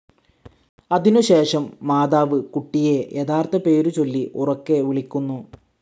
അതിനു ശേഷം മോത്തർ കുട്ടിയേ യഥാർത്ഥ പേരു ചൊല്ലി ഉറക്കെ വിളിക്കുന്നു.